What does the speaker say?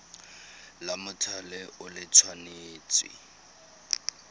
la mothale o le tshwanetse